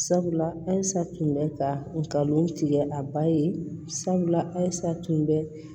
Sabula halisa tun bɛ ka ngalon tigɛ a ba ye sabula a tun bɛ